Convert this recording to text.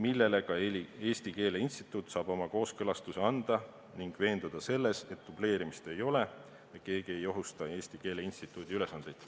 Eesti Keele Instituut saab sellele dokumendile oma kooskõlastuse anda ning veenduda selles, et dubleerimist ei ole ja keegi ei ohusta Eesti Keele Instituudi ülesandeid.